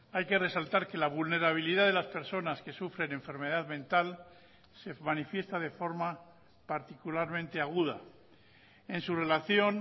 hay que resaltar que la vulnerabilidad de las personas que sufren enfermedad mental se manifiesta de forma particularmente aguda en su relación